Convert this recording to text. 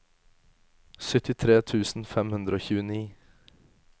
syttitre tusen fem hundre og tjueni